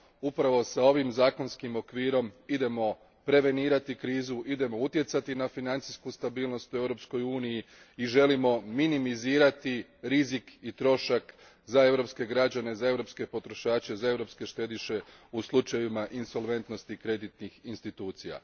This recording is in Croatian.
Upravo ovim zakonskim okvirom idemo prevenirati krizu, idemo utjecati na financijsku stabilnost u Europskoj uniji i želimo minimizirati rizik i trošak za europske građane, potrošače i štediše u slučajevima insolventnosti kreditnih institucija.